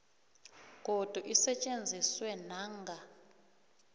godu isetjenziswe nanga